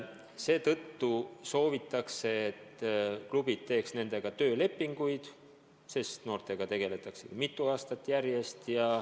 Seetõttu soovitakse, et klubid teeks nendega töölepinguid, sest noortega tegeletakse mitu aastat järjest.